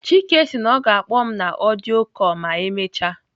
Chike sị na ọ ga-akpọ m na audio call ma emechaa.